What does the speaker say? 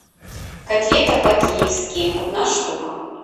котлета по киевски одна штука